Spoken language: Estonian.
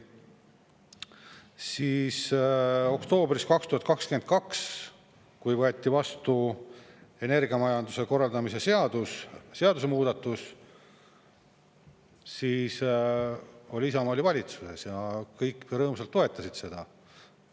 Siis oktoobris 2022, kui võeti vastu energiamajanduse korraldamise seaduse muudatus, siis oli Isamaa valitsuses ja kõik rõõmsalt toetasid seda.